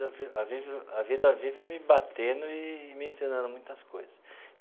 Vi a vive a vida vive me batendo e me ensinando muitas coisas.